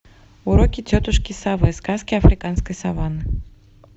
уроки тетушки совы сказки африканской саванны